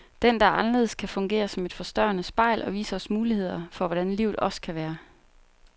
Den, der er anderledes, kan fungere som et forstørrende spejl, og vise os muligheder for hvordan livet også kan være.